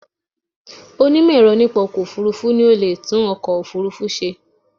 Onímọ̀ ẹ̀rọ nípa ọkọ̀ òfurufú ni o leè tún ọkọ̀ òfúrufú se